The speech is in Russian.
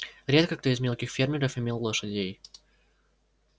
редко кто из мелких фермеров имел лошадей